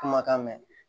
Kumakan mɛn